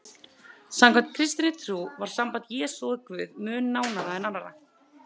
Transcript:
Samkvæmt kristinni trú var samband Jesú við Guð mun nánara en annarra.